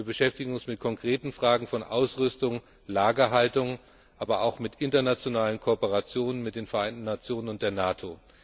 Wir beschäftigen uns mit konkreten Fragen von Ausrüstung, Lagerhaltung, aber auch mit internationalen Kooperationen mit den Vereinten Nationen und der NATO.